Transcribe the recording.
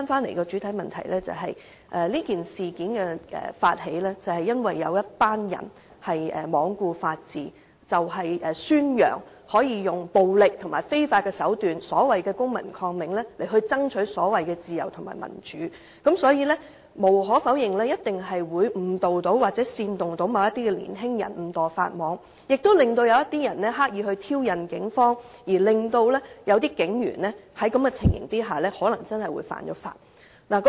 回到主體質詢，這事件的發起，是因為有一群人罔顧法治，宣揚使用暴力及非法手段——即所謂公民抗命——爭取所謂的自由和民主，所以無可否認一定會誤導或煽動某些年輕人誤墮法網，亦令某些人刻意挑釁警方，令某些警員在這種情況下可能真的會犯法。